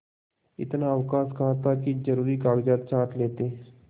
इतना अवकाश कहाँ था कि जरुरी कागजात छॉँट लेते